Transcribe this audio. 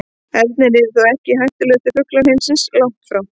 Ernir eru þó ekki hættulegustu fuglar heimsins, langt í frá.